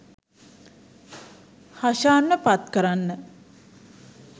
හෂාන්ව පත් කරන්න.